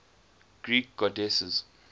greek goddesses